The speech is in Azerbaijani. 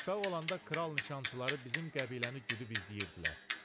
Uşaq olanda kral nişançıları bizim qəbiləni güdüb izləyirdilər.